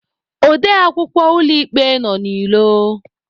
Ode akwukwọ ụlọ ikpe nọ n'ilo.